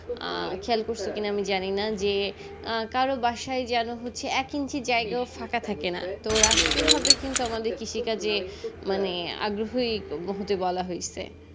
খেয়াল করসে কি না আমি জানি না যে কারো বাসায় যেন হচ্ছে এক inch জায়গাও ফাঁকা থাকে না তো হবে কিন্তু আমাদের কৃষিকাজে মানে আগ্রহ হতে বলা হয়সে